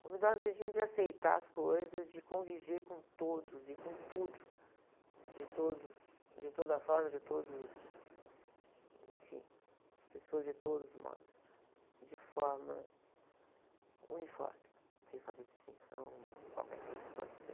Humildade no sentido de aceitar as coisas, de conviver com todos e com tudo, de todos, de toda forma, de todos os, enfim, as pessoas de todos os modos, de forma uniforme, sem fazer distinção de qualquer coisa que possa ter.